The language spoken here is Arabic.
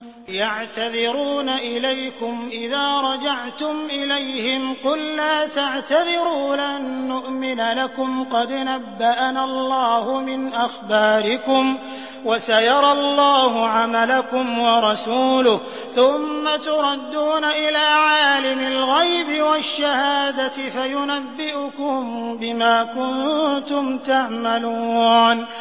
يَعْتَذِرُونَ إِلَيْكُمْ إِذَا رَجَعْتُمْ إِلَيْهِمْ ۚ قُل لَّا تَعْتَذِرُوا لَن نُّؤْمِنَ لَكُمْ قَدْ نَبَّأَنَا اللَّهُ مِنْ أَخْبَارِكُمْ ۚ وَسَيَرَى اللَّهُ عَمَلَكُمْ وَرَسُولُهُ ثُمَّ تُرَدُّونَ إِلَىٰ عَالِمِ الْغَيْبِ وَالشَّهَادَةِ فَيُنَبِّئُكُم بِمَا كُنتُمْ تَعْمَلُونَ